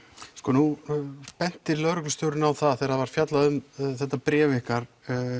nú benti lögreglustjórinn á það þegar það var fjallað um þetta bréf ykkar